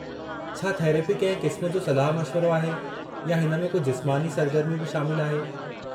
छा थेरेपी कंहिं क़िस्म जो सलाह-मशवरो आहे या हिन में को जिस्मानी सरगर्मी बि शामिलु आहे?